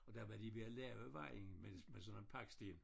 Og der var de ved at lave vejen med med sådan nogle paksten